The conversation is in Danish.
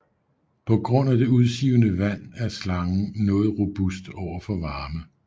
På grund af det udsivende vand er slangen noget robust over for varme